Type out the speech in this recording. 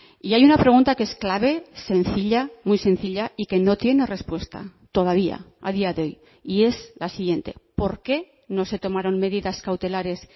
y hay una pregunta que es clave sencilla muy sencilla y que no tiene respuesta todavía a día de hoy y es la siguiente por qué no se tomaron medidas cautelares